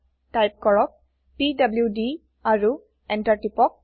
type কৰক PDD আৰু enter টিপক